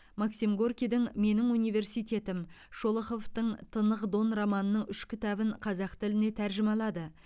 максим горькийдің менің университетім шолоховтың тынық дон романының үш кітабын қазақ тіліне тәржімалады